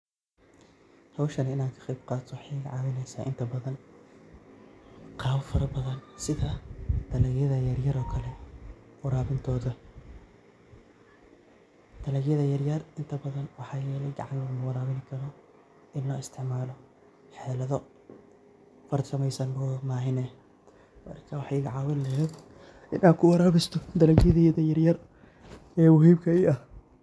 Howshani inan kaqeb qaato waxay iga caawineysa inta badan qaabab fara badan sida dalagyada yaryar oo kale warabintoda, dalagyada yaryar inta badan waxay ledahay gacmo warabinta in la isticmaalo xeeado farsameysan oo mahine marka waxay iga caawin leheyd inan kuwaarabisto dalagyadeyda yaryar ee muhiimka Ii ah